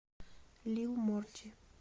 лил морти